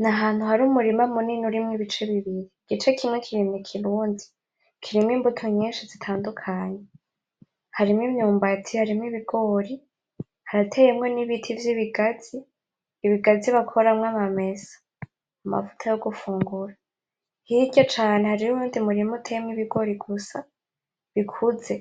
N'ahantu har' umurima munini urimwo ibice bibiri, igice kimwe kiri mu kirundi, kirimwo imbuto nyinshi zitandukanye, harimwo imyumbati; harimwo ibigori; harateyemwo n'ibiti vyibigazi, ibigazi bakoramwo amamesa amavuta yo gufungura, hirya cane hariho uyundi murima uteyemwo ibigori gusa bikuze,